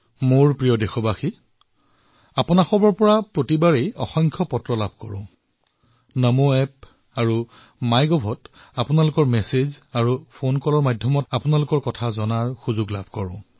মোৰ মৰমৰ দেশবাসীসকল প্ৰতিবাৰেই আপোনালোকৰ বহু পত্ৰ লাভ কৰো নমো এপ আৰু মাই গভত আপোনালোকৰ বাৰ্তা ফোন কলৰ জৰিয়তে আপোনালোকৰ মনৰ কথাসমূহ জানিবলৈ সুবিধা পাও